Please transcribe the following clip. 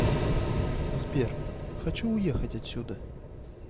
сбер хочу уехать отсюда